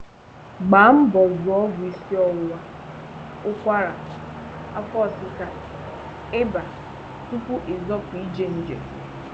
Gbaa mbọ zụụ ọgwụ isiọwụwa, ụkwara, afọ ọsịsa, ị́bà tupu ịzọpụ ije njem